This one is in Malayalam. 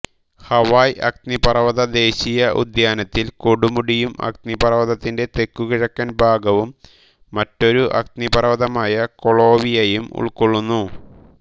ഹവായ് അഗ്നിപർവ്വത ദേശീയ ഉദ്യാനത്തിൽ കൊടുമുടിയും അഗ്നിപർവ്വതത്തിന്റെ തെക്കുകിഴക്കൻ ഭാഗവും മറ്റൊരു അഗ്നിപർവ്വതമായ കൊളാവിയയും ഉൾക്കൊള്ളുന്നു